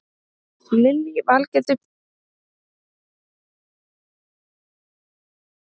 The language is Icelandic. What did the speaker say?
Lillý Valgerður Pétursdóttir: Hversu oft hefur þú komið í réttirnar?